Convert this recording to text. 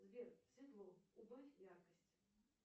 сбер светло убавь яркость